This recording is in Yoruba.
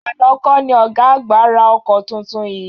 Àná kọ́ ni ọ̀gá àgbà ra ọkọ tuntun yìí?